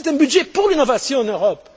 C'est un budget pour l'innovation en Europe.